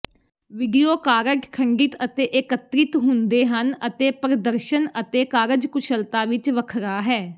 video card ਖੰਡਿਤ ਅਤੇ ਏਕੀਕ੍ਰਿਤ ਹੁੰਦੇ ਹਨ ਅਤੇ ਪ੍ਰਦਰਸ਼ਨ ਅਤੇ ਕਾਰਜਕੁਸ਼ਲਤਾ ਵਿੱਚ ਵੱਖਰਾ ਹੈ